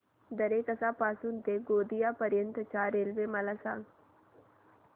दरेकसा पासून ते गोंदिया पर्यंत च्या रेल्वे मला सांगा